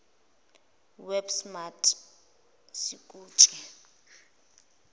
web smart sikutshe